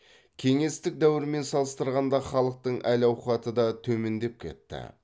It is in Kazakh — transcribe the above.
кеңестік дәуірмен салыстырғанда халықтың әл ауқаты да төмендеп кетті